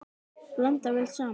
Blandað vel saman.